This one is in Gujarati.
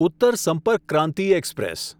ઉત્તર સંપર્ક ક્રાંતિ એક્સપ્રેસ